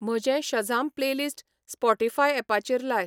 म्हजें शझाम playlist Spotify ऍपाचेर लाय